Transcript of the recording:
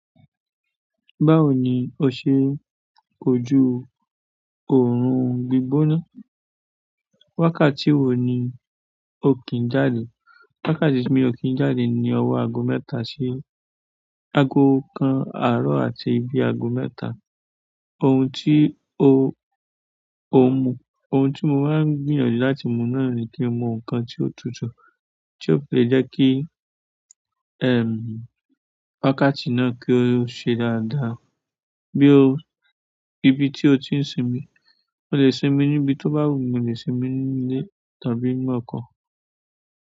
Báwo ni o ṣe n kojú òórùn gbígbóná? Wákàtí wo ni o kí i jáde? Wákàtí tí mi o kí n jáde ni ọwọ́ ago mẹ́ta sí ago kan àárọ̀ àti bi ago mẹ́ta. Ohun tí o o n mú, ohun tí mo máa ń gbìyànjú láti mú náà ni kí n mú nǹkan tí ó tutù, tí ó fi le jẹ́ kí, ẹm, wákàtí náà kí ó ṣe dáadáa. Bí ó, ibi tí o ti ń sinmi, mo lè sinmi níbi tó bá wù mí, mo lè sinmi nínú ilé tàbí nínú ọkọ̀.